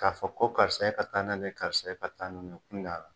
K'a fɔ ko karisa e ka taa n'ale karisa e ka taa ni nunnu ye o kun t'ala